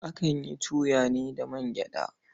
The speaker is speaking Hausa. Akan yi tuya ne da man gyaɗa.